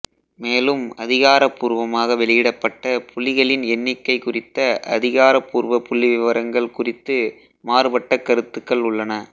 மேலும் அதிகாரப்பூர்வமாக வெளியிடப்பட்ட புலிகளின் எண்ணிக்கை குறித்த அதிகாரப்பூர்வ புள்ளிவிவரங்கள் குறித்து மாறுபட்ட கருத்துக்கள் உள்ளன